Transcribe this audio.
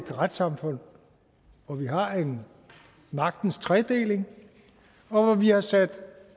retssamfund hvor vi har en magtens tredeling og hvor vi har sat